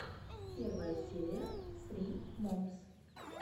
первая серия ссри момс